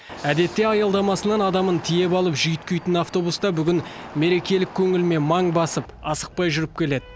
әдетте аялдамасынан адамын тиеп алып жүйткитін автобус та бүгін мерекелік көңілмен маң басып асықпай жүріп келеді